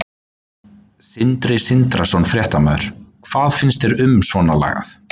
Sindri Sindrason, fréttamaður: Hvað finnst þér um svona lagað?